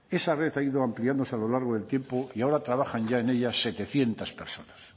esa red ha ido ampliándose a lo largo del tiempo y ahora trabajan ya en ellas setecientos personas